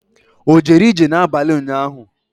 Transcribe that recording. O jere ije n'abalị ụnyaahụ?